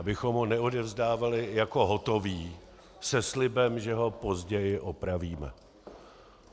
Abychom ho neodevzdávali jako hotový se slibem, že ho později opravíme.